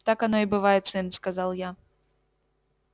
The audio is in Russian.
так оно и бывает сын сказал я